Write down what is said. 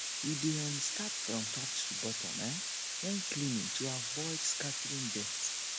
we dey um start from top to bottom um when cleaning to avoid scattering dirt